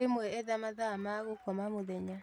Rĩmwe etha mathaa magũkoma mũthenya